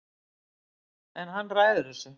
En hann ræður þessu